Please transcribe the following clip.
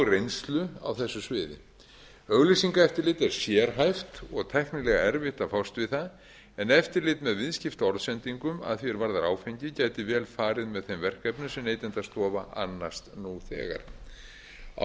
reynslu á þessu sviði auglýsingaeftirlit er sérhæft og tæknilega erfitt að fást við það en eftirlit með viðskiptaorðsendingum að því er varðar áfengi gæti vel farið með þeim verkefnum sem neytendastofa annast nú þegar á